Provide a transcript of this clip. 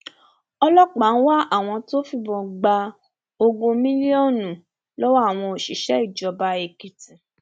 ọlọpàá ń wá àwọn tó fìbọn gba ogún mílíọnù lọwọ àwọn òṣìṣẹ ìjọba èkìtì